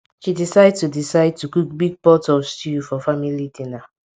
she decide to decide to cook big pot of stew for family dinner